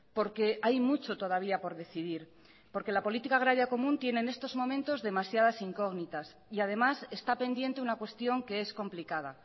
porque hay mucho todavía por decidir porque la política agraria común tiene en estos momentos demasiadas incógnitas y además está pendiente una cuestión que es complicada